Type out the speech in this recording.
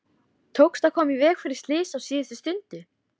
Tókst að koma í veg fyrir slys á síðustu stundu.